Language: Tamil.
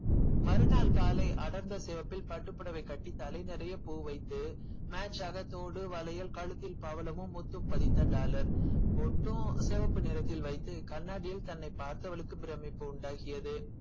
மறுநாள் காலை அடர்ந்த சிவப்பில் பட்டுப்புடவை கட்டி தலை நிறைய பூ வைத்து match ஆக தோடு வளையல் கழுத்தில் பவளமும் முத்தும் பதித்த dollar பொட்டும் செவப்பு நிறத்தில் வைத்து கண்ணாடியில் தன்னை பார்த்தவளுக்கு பிரமிப்பு உண்டாக்கியது